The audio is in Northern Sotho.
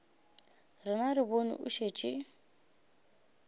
rena re bone o šetše